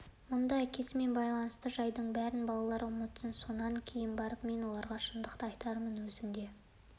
мұнда әкесімен байланысты жайдың бәрін балалар ұмытсын сонан кейін барып мен оларға шындықты айтармын өзің де